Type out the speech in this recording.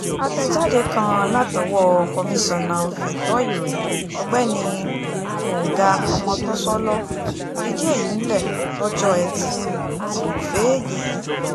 àtẹ̀jáde kan látọwọ́ komisanna fẹ̀tọ́ ìròyìn ọ̀gbẹ́ni gbọ̀ngá ọmọtọ́sọ́ló fìdí èyí múlẹ̀ lọ́jọ́ etí furuufee yìí